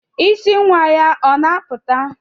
Isí nwa ya ọ na-apụta?